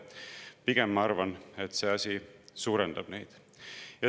Pigem, ma arvan, see suurendab neid.